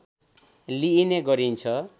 लिइने गरिन्छ